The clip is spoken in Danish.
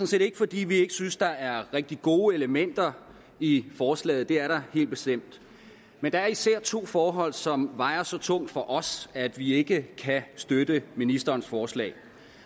set ikke fordi vi ikke synes der er rigtig gode elementer i forslaget det er der helt bestemt men der er især to forhold som vejer så tungt for os at vi ikke kan støtte ministerens forslag